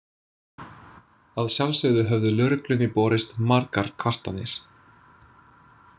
Að sjálfsögðu höfðu lögreglunni borist margar kvartanir.